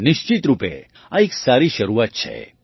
નિશ્ચિત રૂપે આ એક સારી શરૂઆત છે